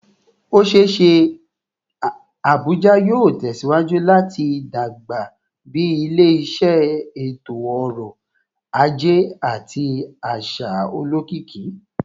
O ṣee ṣe Abuja yoo tẹsiwaju lati dagba bi ile-iṣẹ eto-ọrọ aje ati aṣa olokiki